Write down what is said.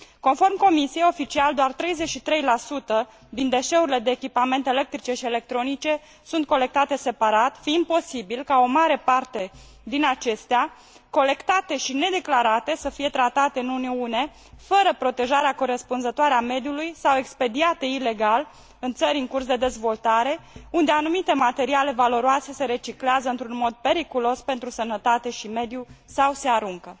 Conform Comisiei, oficial doar 33 din deșeurile de echipamente electrice și electronice sunt colectate separat, fiind posibil ca o mare parte din acestea, colectate și nedeclarate, să fie tratate în Uniune fără protejarea corespunzătoare a mediului sau expediate ilegal în țări în curs de dezvoltare, unde anumite materiale valoroase se reciclează într un mod periculos pentru sănătate și mediu sau se aruncă.